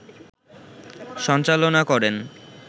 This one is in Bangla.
সঞ্চালনা করেন